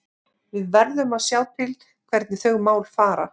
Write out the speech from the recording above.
Við verðum að sjá til hvernig þau mál fara.